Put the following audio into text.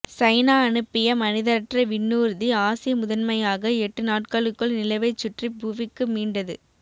China அனுப்பிய மனிதரற்ற விண்ணூர்தி ஆசிய முதன்மையாக எட்டு நாட்களுக்குள் நிலவைச் சுற்றிப் புவிக்கு மீண்டது